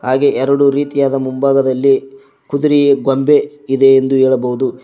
ಹಾಗೆ ಎರಡು ರೀತಿಯಾದ ಮುಂಭಾಗದಲ್ಲಿ ಕುದುರೆಯ ಗೊಂಬೆ ಇದೆ ಎಂದು ಹೇಳಬೋದು.